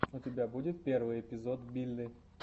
у тебя будет первый эпизод билли